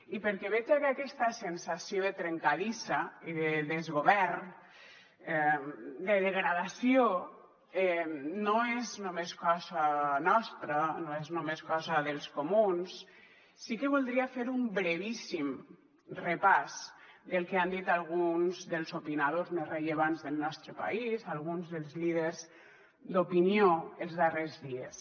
i perquè veja que aquesta sensació de trencadissa i de desgovern de degradació no és només cosa nostra no és només cosa dels comuns sí que voldria fer un brevíssim repàs del que han dit alguns dels opinadors més rellevants del nostre país alguns dels líders d’opinió els darrers dies